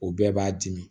O bɛɛ b'a dimi